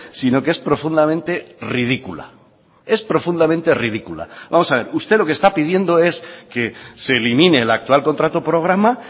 sino que es profundamente ridícula es profundamente ridícula vamos a ver usted lo que está pidiendo es que se elimine el actual contrato programa